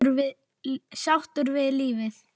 Sáttur við lífið.